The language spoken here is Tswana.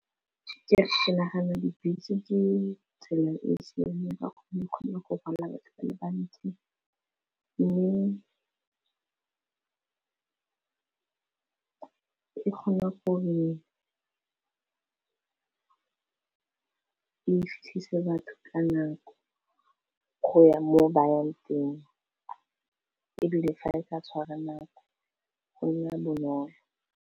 Ke nagana dibese ke tsela e siameng ka e kgone go pega batho ba le bantsi mme di kgone gore e fitlhisa batho ka nako go ya mo ba yang teng e bile fa e ka tshwara nako go nna bonolo.